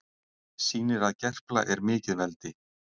Sýnir að Gerpla er mikið veldi